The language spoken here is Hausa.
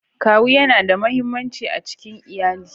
Kawu yana da muhimmanci a cikin iyali.